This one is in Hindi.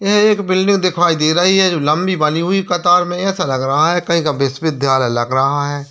ये एक बिल्डिंग दिखाई दे रही है जो लंबी बनी हुई कतार में है ऐसा लग रहा है कहीं का विश्वविद्यालय लग रहा है ।